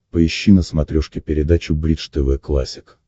поищи на смотрешке передачу бридж тв классик